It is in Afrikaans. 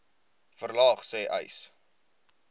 verlaag sê uys